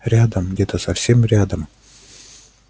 рядом где-то совсем рядом